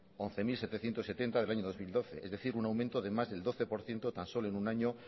once mil setecientos setenta del año dos mil doce es decir un aumento de más del doce por ciento tan solo en un año